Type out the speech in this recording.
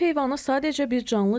Ev heyvanı sadəcə bir canlı deyil.